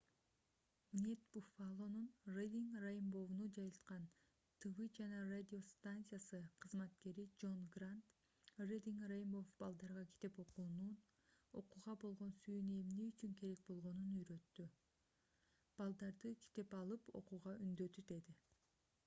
wned buffalo’нун reading rainbow’ну жайылткан тв жана радио станциясы кызматкери джон грант reading rainbow балдарга китеп окуунун окууга болгон сүйүүнү эмне үчүн керек болгонун үйрөттү — [шоу] балдарды китеп алып окууга үндөдү деди